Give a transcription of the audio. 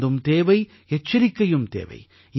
மருந்தும் தேவை எச்சரிக்கையும் தேவை